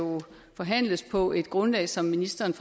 forhandles på et grundlag som ministeren